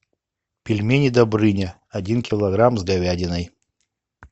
пельмени добрыня один килограмм с говядиной